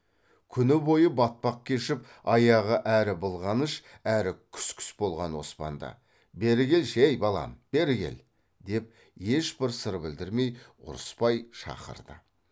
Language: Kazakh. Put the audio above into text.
күні бойы батпақ кешіп аяғы әрі былғаныш әрі күс күс болған оспанды бері келші ей балам бері кел деп ешбір сыр білдірмей ұрыспай шақырды